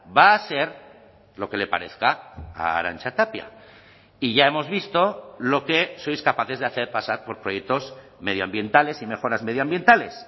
va a ser lo que le parezca a arantxa tapia y ya hemos visto lo que sois capaces de hacer pasar por proyectos medioambientales y mejoras medioambientales